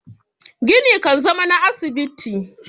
gini kan zama na asibiti